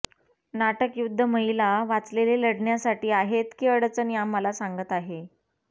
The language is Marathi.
नाटक युद्ध महिला वाचलेले लढण्यासाठी आहेत की अडचणी आम्हाला सांगत आहे